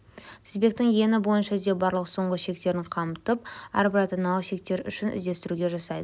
тізбектің ені бойынша іздеу барлық соңғы шектерін қамтып әрбір ата-аналық шектер үшін іздестіруді жасайды